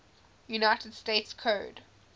united states code